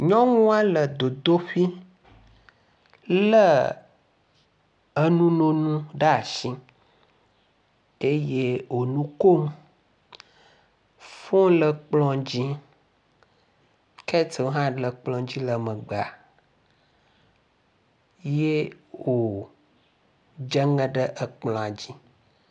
Nyɔnua le dzodoƒee lé enu nunu ɖe asi eye wò nu kom, fon le kplɔ dzi, ketel hã le kplɔ dzi le megbea, ye wòdze ŋe ɖe ekplɔa dzi.